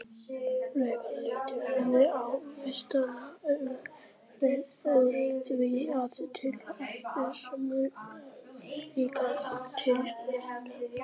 Frekara lesefni á Vísindavefnum Úr því að til eru ljósmæður, eru þá líka til ljósfeður?